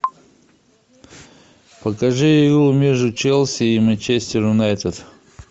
покажи игру между челси и манчестер юнайтед